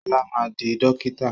Ṣọlá ma di dókítà!